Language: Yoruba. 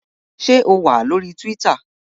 Ṣé o wà ní orí Tíwítà?